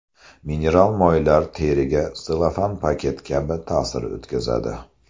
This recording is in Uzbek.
Mineral moylar teriga selofan paket kabi ta’sir o‘tkazadi.